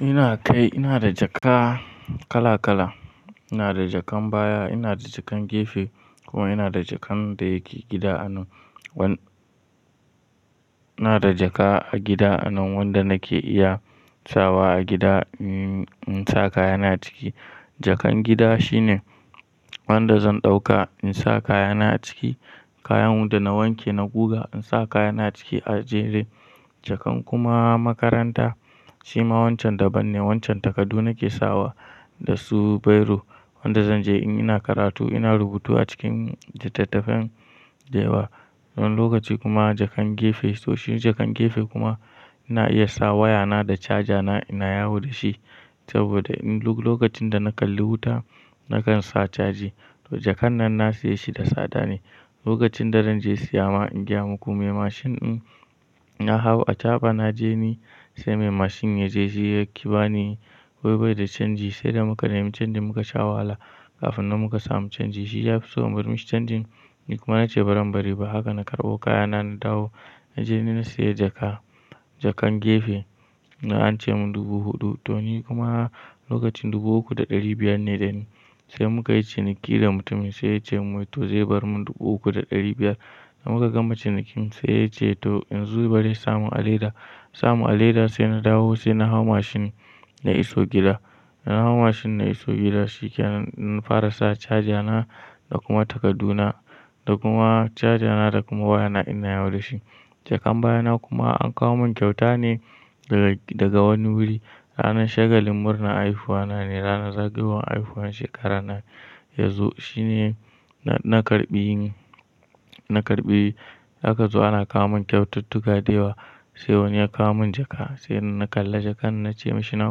Ina kai, ina da jaka kala kala. Ina da jakan baya, ina da jakan gefe kuma ina da jakan da yake gida anan wan-- ina da jaka a gida anan wanda nake iya sawa a gida, mm, in sa kayana ciki. Jakan gida shine wanda zan ɗauka in sa kayana ciki, kayan wanda na wanke na guga in sa kayana ciki a je dai. Jakan kuma makaranta shi ma wancan daban ne. Wancan takadu nake sawa da su biro wanda zan je in ina karatu ina rubutu a cikin littattafan da yawa. Nan lokaci kuma jakan gefe, to shi jakan gefe kuma ina iya sa wayana da caja na ina yawo da shi saboda in-- lo-lokacin da na kalli wuta nakan sa caji. To jakan nan na siya shi da tsada ne. Lokacin da zan je siya ma, in gaya muku mai mashin in na hawo a chaba na je ni sai mai mashin ya je shi yaki ba ni wai baida canji sai da muka nemi canjin muka sha wahala kafin nan muka samu canji. Shi ya fiso in bar mishi canjin ni kuma na ce baran bari ba haka na karɓo kayana na dawo. Na je ni na siya jaka, jakan gefe na an ce mun dubu huɗu to ni kuma lokacin dubu uku da ɗari biyar ne dani sai muka yi ciniki da mutumin sai ya ce mun to zai bar mun dubu uku da ɗari biyar. Na muka gama cinikin sai ya ce to in zo bari ya samun a leda. Samun a leda sai na dawo sai na hau mashin na iso gida. Na hau mashin na iso gida shi ke nan na fara sa caja na da kuma takadu na da kuma caja na da kuma wayana ina yawo da shi. Jakan baya na kuma an kawo mun kyauta ne daga, daga wani wuri ranar shagalin murna haifuwa na ne, ranar zagayowar haifuwan shekarar na yanzu. Shi ne na, na karɓi, na karɓi haka zuwa ana kawo mun kyaututtuka da yawa sai wani ya kawo mun jaka. Sai na kalla jakan na ce mashi na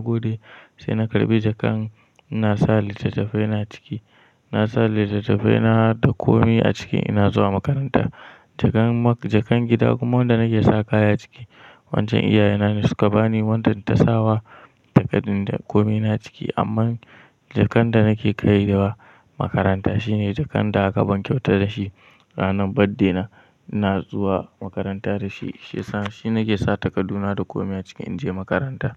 gode sai na karɓi jakan na sa littattafai na ciki. Na sa littattafai na da komi a ciki ina zuwa makaranta. Jakan mak-- jakan gida kuma wanda nake sawa kaya ciki. Wancan iyaye na ne suka bani wanda ta sawa takadin da komi na ciki. Amma jakan da nake kai da wa makaranta shine jakan da aka ban kyauta da shi ranar birthday na, ina zuwa makaranta da shi. Shi sa-- shi nake sa takadu na da komi a ciki in je makaranta.